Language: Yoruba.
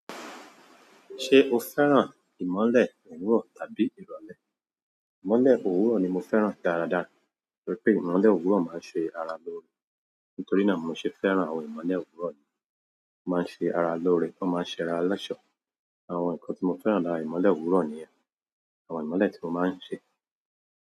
Ṣé o fẹ́ràn ìmọ́lẹ̀ òwúrọ̀ tàbí ìrọ̀lẹ́? Ìmọ́lẹ̀ òwúrọ̀ ni mo fẹ́ràn dára dáa torí pé ìmọ́lẹ̀ òwúrọ̀ máa ń ṣe ara lóore. Nítorí náà n mo ṣe fẹ́ràn àwọn ìmọ́lẹ̀ òwúrọ̀ ni. O máa ń ṣe ara lóore, ó máa ń ṣe ara lọ́ṣọ̀ọ́. Àwọn nǹkan tí mo fẹ́ràn lára ìmọ́lẹ̀ òwúrọ̀ nìyẹn. Àwọn ìmọ́lẹ̀ tí wọ́n máa ń ṣe.